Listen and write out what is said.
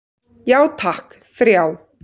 Já takk, þrjá.